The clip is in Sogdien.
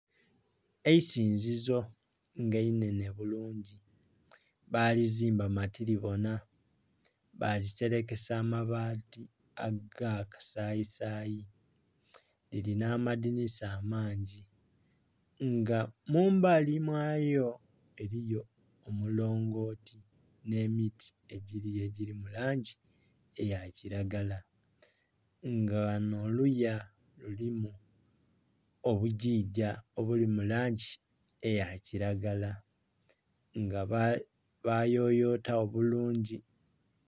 Eisinzizo nga inhenhe bulungi balizimba matiribonha baliserekesa amabaati aga kasayi sayi liri nhamadhinhisa amangi. Nga mumbali mwayo eliyo omulongoti nh'emiti egiriyo egiri mulangi eyakiragala nga ghanho oluya lulimu obugigya obuli mulangi eyakiragala nga bayoyotagho bulungi.